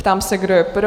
Ptám se, kdo je pro?